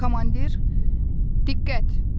Komandir, diqqət.